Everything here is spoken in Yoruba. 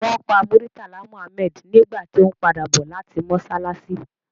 Won pa Murtala Muhammed nigba to n pada bo lati mosalasi